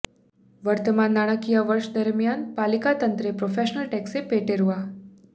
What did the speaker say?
વર્તમાન નાણાકીય વર્ષ દરમિયાન પાલિકા તંત્રે પ્રોફેશનલ ટેક્સ પેટે રૃા